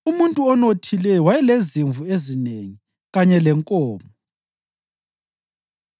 Umuntu onothileyo wayelezimvu ezinengi kanye lenkomo,